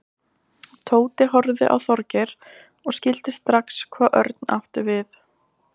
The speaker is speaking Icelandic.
Tóti horfði á Þorgeir og skildi strax hvað Örn átti við.